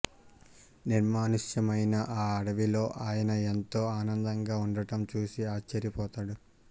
నిర్మానుష్యమైన ఆ అడవిలో ఆయన ఎంతో ఆనందంగా ఉండటం చూసి ఆశ్చర్యపోతాడు